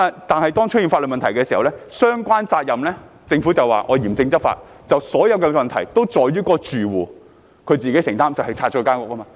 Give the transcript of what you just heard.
但是，當出現法律問題，追究相關責任時，政府便說會嚴正執法，把所有問題歸咎於住戶，要其自行承擔，即是清拆其房屋。